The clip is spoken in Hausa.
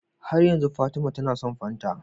Har yanzu fatima tAna son fanta